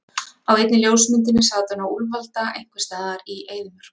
Á einni ljósmyndinni sat hún á úlfalda einhvers staðar í eyðimörk.